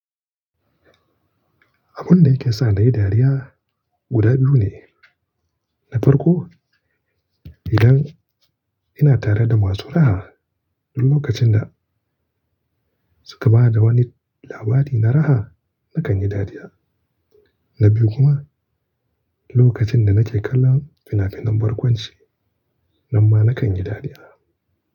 Abun da yake sa ni dariya guda biyu ne. Na farko, idan ina tare da masu raha duk lokacin da suka ba da wani labari na raha, nakan yi dariya. Na biyu kuma, lokacin da nake kallo fina-finan barkwanci, nan ma nakan yi dariya.